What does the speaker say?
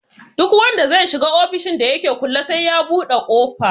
Duk wanda zai shiga ofishin da yake kulle sai ya buɗe ƙofa